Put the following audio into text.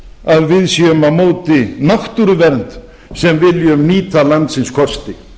að við séum á móti náttúruvernd sem viljum nýta landsins kosti